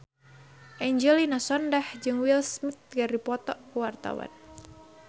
Angelina Sondakh jeung Will Smith keur dipoto ku wartawan